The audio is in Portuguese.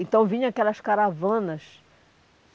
Então vinham aquelas caravanas.